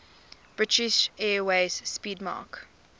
british airways 'speedmarque